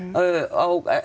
á